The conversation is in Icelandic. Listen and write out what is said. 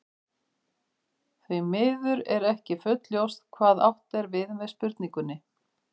Því miður er ekki fullljóst hvað átt er við með spurningunni.